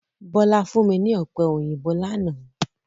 Bọ́lá fún mi ní Ọ̀pẹ òyìnbó lánàá